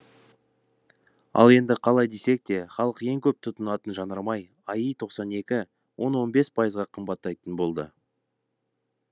ал енді қалай десек те халық ең көп тұтынатын жанармай аи тоқсан екі он он бес пайызға қымбаттайтын болды